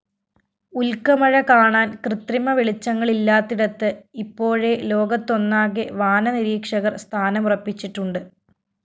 ഉല്‍ക്കമഴ കാണാന്‍ കൃത്രിമ വെളിച്ചങ്ങളില്ലാത്തിടത്ത് ഇപ്പോഴേ ലോകത്തൊന്നാകെ വാനനരീക്ഷകര്‍ സ്ഥാനമുറപ്പിച്ചിട്ടുണ്ട്